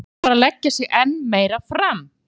Þá verður maður bara að leggja sig enn meira fram.